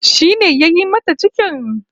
Shi ne yayi mata cikin?